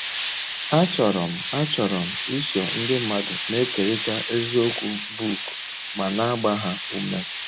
“ Achọrọ m Achọrọ m iso ndị mmadụ na - ekerịta eziokwu book ma na - agba ha ume. ”